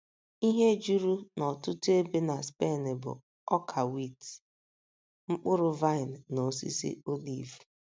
Ihe juru n’ọtụtụ ebe na Spen bụ ọka wit, mkpụrụ vaịn na osisi oliv.